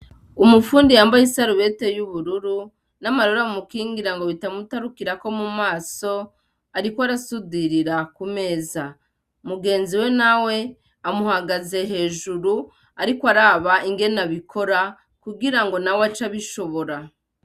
Umufundi yambaye isarubeti y'ubururu, n'amarori amukingira ngo bitamutarukirako mu maso ariko arasundirira ku meza ,mugenzi we nawe amuhagaze hejuru, arikw'araba ingene abikora kugirango nawe ace abishobora.